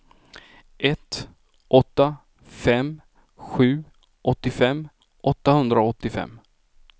ett åtta fem sju åttiofem åttahundraåttiofem